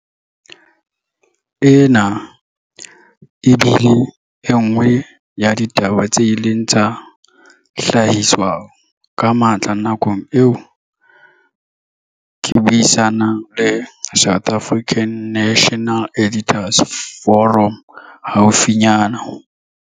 Ena e bile e nngwe ya ditaba tse ileng tsa hlahiswa ka matla nakong eo ke buisa nang le South African National Editors' Forum haufinyana.